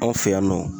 Anw fɛ yan nɔ